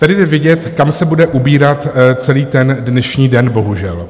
Tady je vidět, kam se bude ubírat celý ten dnešní den, bohužel.